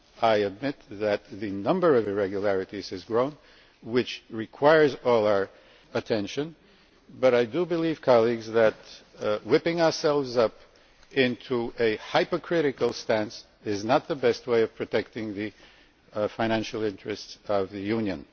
I admit that the number of irregularities has grown, which requires all our attention, but I do believe, colleagues, that whipping ourselves up into a hypercritical stance is not the best way of protecting the financial interests of the Union.